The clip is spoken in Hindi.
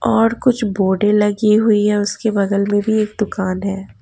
और कुछ बोर्डे लगी हुई हैं उसके बगल में भी एक दुकान है।